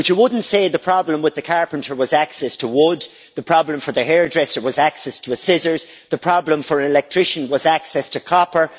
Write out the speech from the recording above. But you wouldn't say the problem with the carpenter was access to wood, the problem for the hairdresser was access to scissors, or the problem for an electrician was access to copper.